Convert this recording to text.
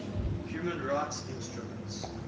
human rights instruments